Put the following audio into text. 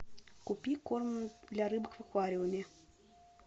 купи корм для рыбок в аквариуме